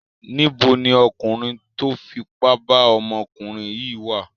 Níbo ni ọkùnrin tó fipá bá ọmọkùnrin yìí wà?